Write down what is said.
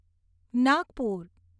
Nagpur